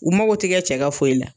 U mago tigɛ cɛ ka foyi la